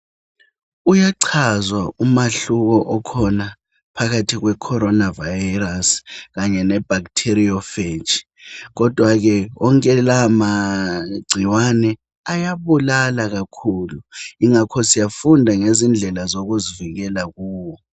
Uyachazwa umahluko okhona phakathi kweCorona virus kanye leBactireophage kodwa ke wonke lawa magcikwane ayabulala kakhulu. Ingakho ke siyafunda lendlela zokuzivikela kuwo.